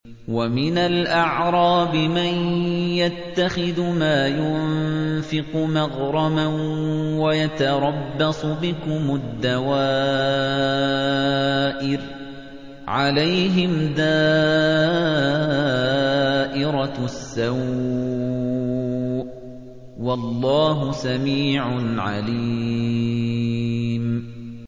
وَمِنَ الْأَعْرَابِ مَن يَتَّخِذُ مَا يُنفِقُ مَغْرَمًا وَيَتَرَبَّصُ بِكُمُ الدَّوَائِرَ ۚ عَلَيْهِمْ دَائِرَةُ السَّوْءِ ۗ وَاللَّهُ سَمِيعٌ عَلِيمٌ